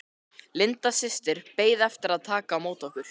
Linda systir beið eftir að taka á móti okkur.